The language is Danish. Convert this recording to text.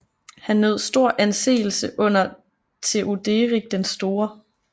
Han nød stor anseelse under Theoderik den Store